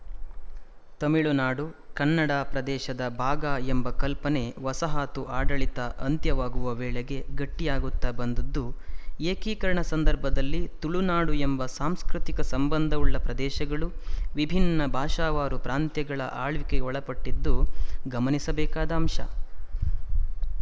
ತುಮಿಳುನಾಡು ಕನ್ನಡ ಪ್ರದೇಶದ ಭಾಗ ಎಂಬ ಕಲ್ಪನೆ ವಸಾಹತು ಆಡಳಿತ ಅಂತ್ಯವಾಗುವ ವೇಳೆಗೆ ಗಟ್ಟಿಯಾಗುತ್ತಾ ಬಂದದ್ದು ಏಕೀಕರಣ ಸಂದರ್ಭದಲ್ಲಿ ತುಳುನಾಡು ಎಂಬ ಸಾಂಸ್ಕೃತಿಕ ಸಂಬಂಧವುಳ್ಳ ಪ್ರದೇಶಗಳು ವಿಭಿನ್ನ ಭಾಷಾವಾರು ಪ್ರಾಂತ್ಯಗಳ ಆಳ್ವಿಕೆಗೆ ಒಳಪಟ್ಟಿದ್ದು ಗಮನಿಸಬೇಕಾದ ಅಂಶ